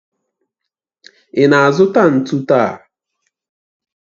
Ị na-azụta ntu taa?